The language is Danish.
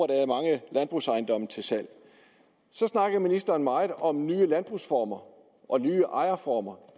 der er mange landbrugsejendomme til salg så snakkede ministeren meget om nye landbrugsformer og nye ejerformer